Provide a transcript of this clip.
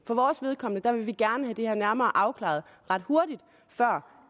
vores vedkommende vil vi gerne have det her nærmere afklaret ret hurtigt før